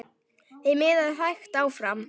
Þeim miðaði hægt áfram.